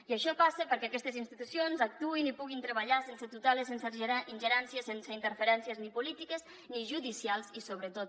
i això passa perquè aquestes institucions actuïn i puguin treballar sense tuteles sense ingerències sense interferències ni polítiques ni judicials i sobretot